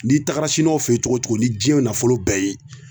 N'i tagara siniwaw fe yen cogo o cogo ni jiɲnɛ nafolo bɛɛ ye